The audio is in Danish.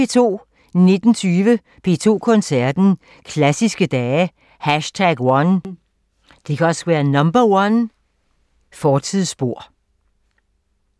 19:20: P2 Koncerten – Klassiske Dage #1 – Fortidsspor